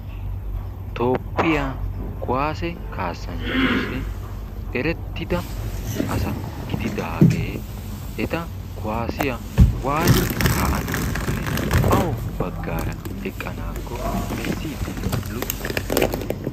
Toophphiya kuwaase kaasanchchatussi erettida asa gididaage eta kuwaasiya waati kaa'anaakkonne awu baggaara eqqanaakko besiiddinne luxissiiddi beettees.